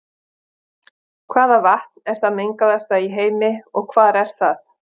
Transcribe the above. hvaða vatn er það mengaðasta í heimi og hvar er það